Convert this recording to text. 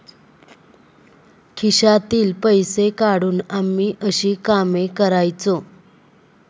खिशातील पैसे काढून आम्ही अशी कामे करायचो.